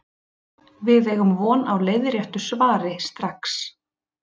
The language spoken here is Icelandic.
Við eigum von á leiðréttu svari strax.